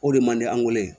O de mandi an weele